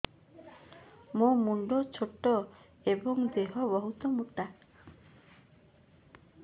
ମୋ ମୁଣ୍ଡ ଛୋଟ ଏଵଂ ଦେହ ବହୁତ ମୋଟା